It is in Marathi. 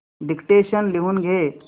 डिक्टेशन लिहून घे